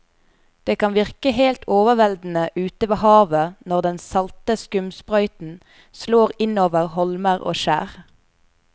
Det kan virke helt overveldende ute ved havet når den salte skumsprøyten slår innover holmer og skjær.